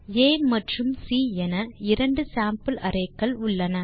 ஆ மற்றும் சி என இரண்டு சேம்பிள் arrayகள் உள்ளன